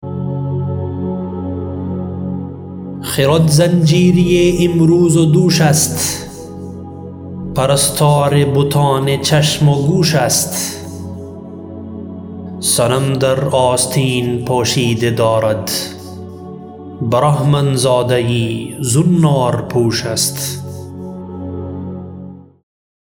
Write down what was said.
خرد زنجیری امروز و دوش است پرستار بتان چشم و گوش است صنم در آستین پوشیده دارد برهمن زاده زنار پوش است